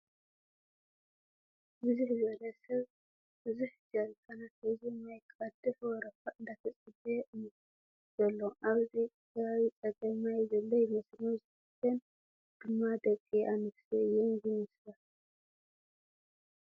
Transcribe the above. ብዝሕ ዝበለ ሰብ ብዘሕ ጀሪካናት ሒዙ ማይ ክቕድሕ ወረፋ እንዳተፀበየ እዩ ዘሎ ኣብዚ ኸባቢ ፀገም ማይ ዘሎ ይመስል፡ መብዛሕተን ድማ ደቒ ኣነስትዮ እየን ዝመስላ ።